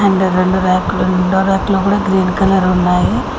ఇక్కడ రెండు ర్యాక్ లు రెండో ర్యాక్ లో కూడా గ్రీన్ కలర్ ఉన్నాయి.